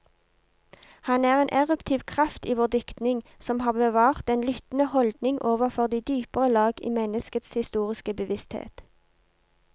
Han er en eruptiv kraft i vår diktning, som har bevart den lyttende holdning overfor de dypere lag i menneskets historiske bevissthet.